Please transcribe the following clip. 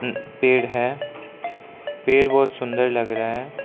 पेड़ है पेड़ बहुत सुंदर लग रहा हैं।